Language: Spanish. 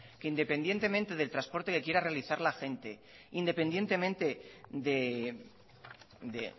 que independientemente del transporte que quiera realizar la gente independientemente de